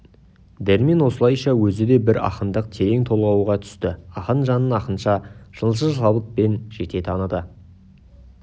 дәрмен осылайша өзі де бір ақындық терең толғауға түсті ақын жанын ақынша шыншыл шабытпен жете таныды